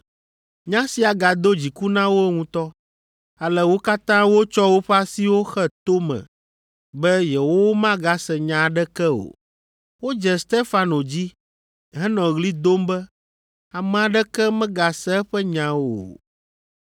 Nya sia gado dziku na wo ŋutɔ, ale wo katã wotsɔ woƒe asiwo xe to me be yewomagase nya aɖeke o. Wodze Stefano dzi henɔ ɣli dom be ame aɖeke megase eƒe nya o.